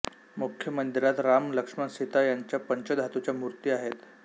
मुख्य मंदिरात राम लक्ष्मण सीता यांच्या पंचधातूच्या मूर्ती आहेत